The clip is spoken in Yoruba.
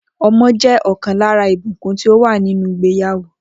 O̩mo̩ jé̩ o̩kàn lára ìbùkún tí ó wà nínú ìgbéyàwó